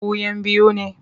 Ku 'yan biyu ne?